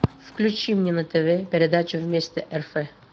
включи мне на тв передачу вместе рф